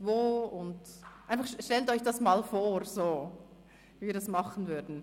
Stellen Sie sich einmal vor, wie wir das machen würden.